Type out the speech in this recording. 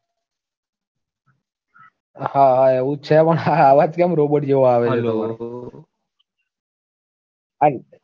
હાહા એવું જ છે પણ આ અવાજ કેમ robot જેવો આવે છે hello છે?